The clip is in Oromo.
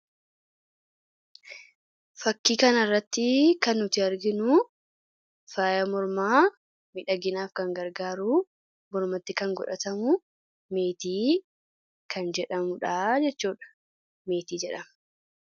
Fakkii kana irratti kan nuti arginu faaya mormaa miidhaginaaf kan gargaaru mormattis kan godhatamu meetii jedhama.